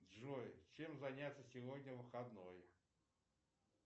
джой чем заняться сегодня выходной